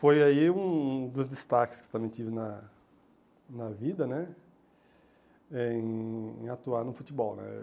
Foi aí um dos destaques que também tive na na vida né, eh em atuar no futebol né.